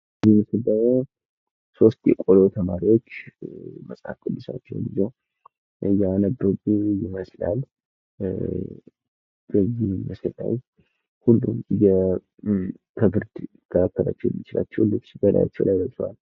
ይህ ደሞ ሶስት የቆሎ ተማሪዎች መጽሓፍ ቅዱሳቸውን ይዘው እያነበቡ ይመስላል። ሁሉም ከብርድ ሊከላከልላቸው የሚችለውን ልብስ ከበላያቸው ለብሰዋል።